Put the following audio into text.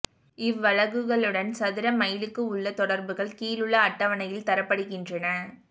இவ்வலகுகளுடன் சதுர மைலுக்கு உள்ள தொடர்புகள் கீழுள்ள அட்டவணையில் தரப்படுகின்றன